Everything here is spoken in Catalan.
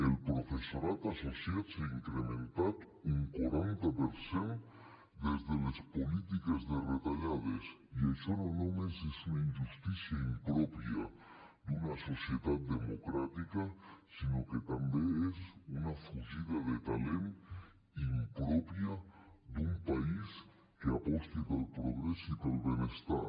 el professorat associat s’ha incrementat un quaranta per cent des de les polítiques de retallades i això no només és una injustícia impròpia d’una societat democràtica sinó que també és una fugida de talent impròpia d’un país que aposti pel progrés i pel benestar